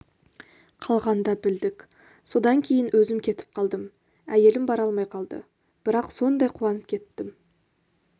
қалғанда білдік содан кейін өзім кетіп қалдым әйелім бара алмай қалды бірақ сондай қуанып кеттім